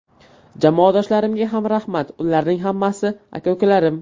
Jamoadoshlarimga ham rahmat, ularning hammasi aka-ukalarim.